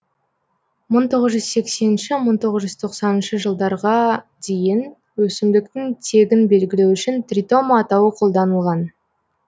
мың тоғыз жүз сексенінші мың тоғыз жүз тоқсаныншы жылдарға дейін өсімдіктің тегін белгілеу үшін тритома атауы қолданылған